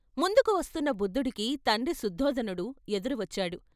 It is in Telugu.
ముందుకు వస్తున్న బుద్ధుడికి తండ్రి శుద్దోదనుడు ఎదురువచ్చాడు.